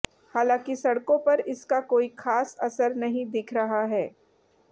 हांलाकि सड़कों पर इसका कोई खास असर नहीं दिख रहा है